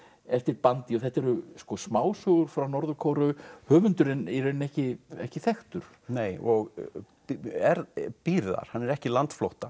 eftir bandi þetta eru smásögur frá Norður Kóreu höfundurinn í rauninni ekki ekki þekktur og býr þar hann er ekki landflótta